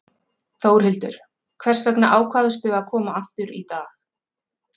Þórhildur: Hvers vegna ákvaðstu að koma aftur í dag?